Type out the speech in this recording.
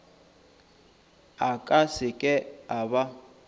a ka seke a ba